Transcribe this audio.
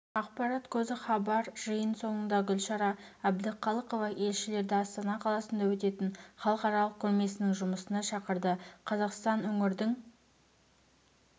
ақпарат көзі хабар жиын соңында гүлшара әбдіқалықова елшілерді астана қаласында өтетін халықаралық көрмесінің жұмысына шақырды қазақстанөңірдің